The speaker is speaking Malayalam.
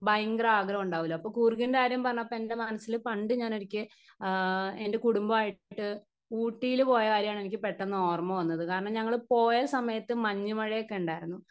സ്പീക്കർ 1 പയങ്കര ആഗ്രഹഉണ്ടാവൂല്ലൊ അപ്പൊ കൂർഗിൻ്റെ കാര്യം പറന്നപ്പോ എൻ്റെ മനസ്സില് പണ്ടുഞാനൊരിക്കെ ആ എൻ്റെ കുടുംബായിട്ട് ഊട്ടിയില് പോയ കാര്യാണ് എനിക്ക് പെട്ടെന്ന് ഓർമ്മ വന്നത് കാരണം ഞങ്ങൾ പോയ സമയത് മഞ്ഞുമഴയൊക്കെണ്ടാരുന്നു.